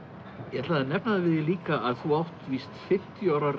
ég ætlaði að nefna það við þig líka að þú átt víst fimmtíu ára